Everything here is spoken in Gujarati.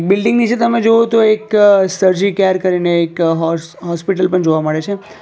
બિલ્ડીંગ નીચે તમે જુઓ તો એક સર્જી કેર કરીને એક હોર્સ હોસ્પિટલ પણ જોવા મળે છે.